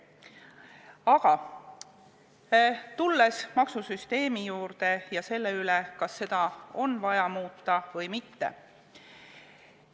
Aga tulen nüüd selle juurde, kas maksusüsteemi on vaja muuta või mitte.